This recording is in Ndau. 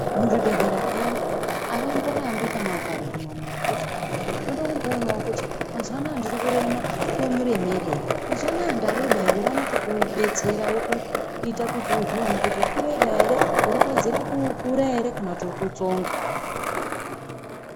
Muchibhohleya peyani avamborambi muntu akaguma zviyani achiri ndoda kumboonawo kuti mazuva ano ndiri kurema chimuremerei mazuva ano ndareba here vanokubetsera uzvione kuti urikureba here uri kuwedzera kukura here kana kuti urikutsonga.